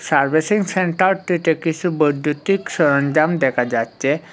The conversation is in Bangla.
সার্ভিসিং সেন্টারটিতে কিছু বৈদ্যুতিক সরঞ্জাম দেখা যাচ্ছে।